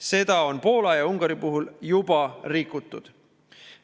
Seda on Poola ja Ungari puhul juba rikutud.